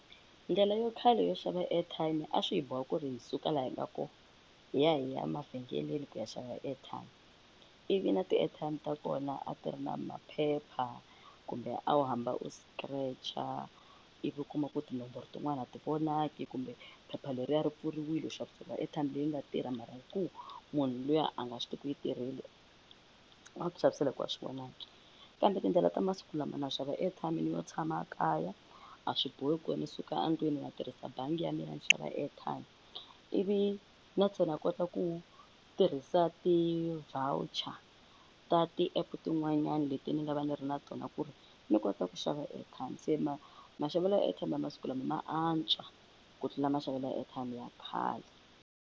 Ndlela yo khale yo xava airtime a swi hi boha ku ri hi suka laha hi nga koho hi ya hi ya mavhengeleni ku ya xava airtime ivi na ti-airtime ta kona a ti ri na maphepha kumbe a wu hamba u scratcher ivi u kuma ku tinomboro tin'wani a ti vonaki kumbe phepha leriya ri pfuriwile, u xaviseriwa airtime leyi nga tirha mara hi ku munhu luya a nga swi tivi ku yi tirhile a ku xavisela hikuva a swi vonaki, kambe tindlela ta masiku lama na xava airtime ni yo tshama kaya a swi bohi ku ni suka endlwini ma tirhisa bangi ya mina ya ni xava airtime, ivi na ntsena ni kota ku tirhisa ti-voucher ta ti-app tin'wanyani leti ni nga va ni ri na tona ku ri ni kota ku xava airtime, se maxavelo ya airtime ya masiku lama ma antswa ku tlula maxavelo ya airtime ya khale.